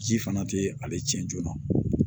Ji fana tɛ ale tiɲɛ joona